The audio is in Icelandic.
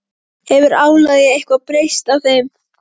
Hefur álagið eitthvað breyst á þeim?